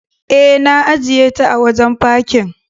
E, na ajiyeta a wajen fakin.